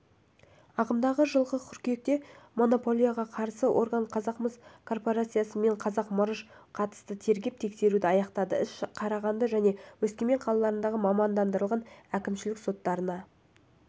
ағымдағы жылғы қыркүйекте монополияға қарсы орган қазақ мыс корпорациясы мен қазақ мырыш қатысты тергеп-тексеруді аяқтады іс қарағанды және өскемен қалаларының мамандандырылған әкімшілік соттарына